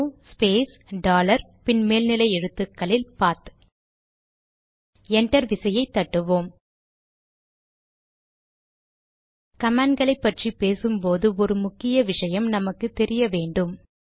echo space dollar பின் மேல் எழுத்துக்களில் பாத்PATH என்டர் விசையை தட்டுவோம் கமாண்ட் களை பற்றி பேசும்போது ஒரு முக்கிய விஷயம் நமக்கு தெரிய வேண்டும்